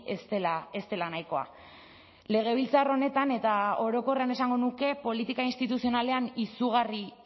ez dela ez dela nahikoa legebiltzar honetan eta orokorrean esango nuke politika instituzionalean izugarri